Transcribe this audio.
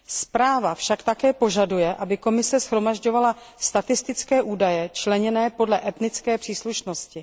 Zpráva však také požaduje, aby Komise shromažďovala statistické údaje členěné podle etnické příslušnosti.